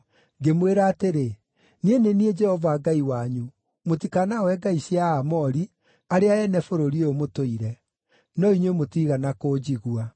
Ngĩmwĩra atĩrĩ, ‘Niĩ nĩ niĩ Jehova Ngai wanyu; Mũtikanahooe ngai cia Aamori, arĩa ene bũrũri ũyũ mũtũire.’ No inyuĩ mũtiigana kũnjigua.”